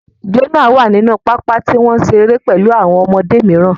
Jonah wà nínú pápá tí wọ́n ń ṣeré pẹ̀lú àwọn ọmọdé mìíràn